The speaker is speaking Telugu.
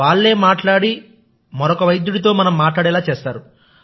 వాళ్ళే మాట్లాడి మరొక వైద్యుడితో మాట్లాడేలా చేస్తారు